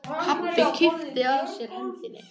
Pabbi kippti að sér hendinni.